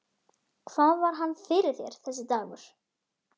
Hvað var hann fyrir þér, þessi dagur.